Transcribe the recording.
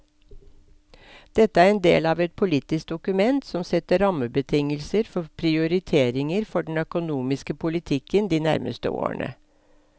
Dette er en del av et politisk dokument som setter rammebetingelser for prioriteringer for den økonomiske politikken de nærmeste årene.